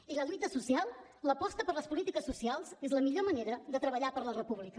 i la lluita social l’aposta per les polítiques socials és la millor manera de treballar per la república